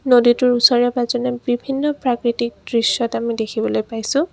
নদীটোৰ ওচৰে পাজৰে বিভিন্ন প্ৰাকৃতিক দৃশ্যত আমি দেখিবলৈ পাইছোঁ।